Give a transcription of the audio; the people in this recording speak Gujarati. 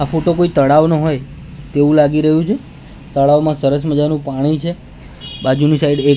આ ફોટો કોઈ તળાવનો હોય તેવું લાગી રહ્યું છે તળાવમાં સરસ મજાનું પાણી છે બાજુની સાઈડ એક--